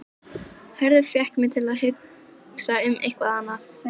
Hörður fékk mig til að hugsa um eitthvað annað.